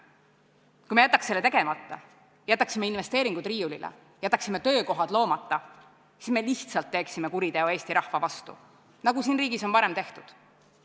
Kui me jätaks selle tegemata, jätaksime investeeringud riiulile, jätaksime töökohad loomata, siis me lihtsalt teeksime kuriteo Eesti rahva vastu – nagu siin riigis on varem tehtud.